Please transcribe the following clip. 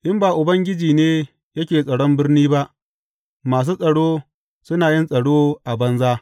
In ba Ubangiji ne yake tsaron birni ba, masu tsaro suna yin tsaro a banza.